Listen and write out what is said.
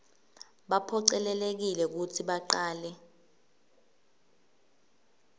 baphocelelekile kutsi bacale